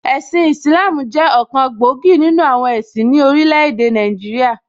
Ẹ̀sin Ìsìlááámù jẹ́ ọ̀kan gbòógì nìnu àwọn ẹ̀sìn ní orílẹ̀ èdè Nàìjíríà